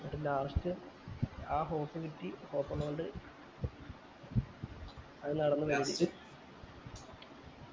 last ആ hope കിട്ടി hope ഇല്ലൊണ്ട്‌ അത് നടന്നു